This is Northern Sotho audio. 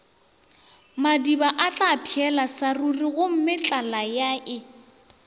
madiba atlapšhela sa rurigomme tlalayae